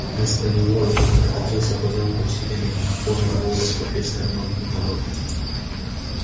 вместо него эхом прокатился по замку усиленный мегафоном голос профессора макгонагалл